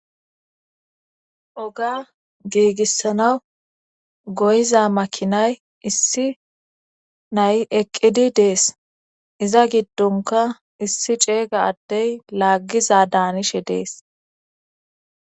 Oga giigissanaw goyiza makinay issi nay eqqidi dees iza giddonkka issi ceegga addey laaggizadaanishe dees